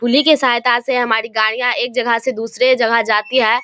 पुल ही के सहायता से हमारी गाड़ियां एक जगह से दुसरे जगह जाती है।